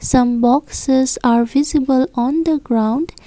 Some boxes are visible on the ground.